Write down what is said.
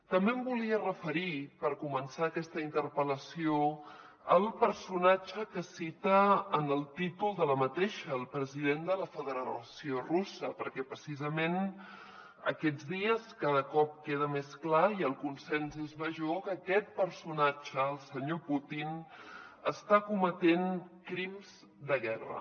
també em volia referir per començar aquesta interpel·lació al personatge que cita en el títol de la mateixa el president de la federació russa perquè precisament aquests dies cada cop queda més clar i el consens és major que aquest personatge el senyor putin està cometent crims de guerra